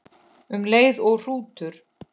Um leið og hrútur